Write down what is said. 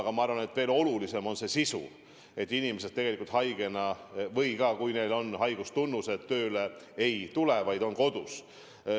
Aga ma arvan, et veel olulisem on otsuse sisu: kui inimesed on haiged või kui neil on haigustunnused, siis nad tööle ei tule, vaid on kodus.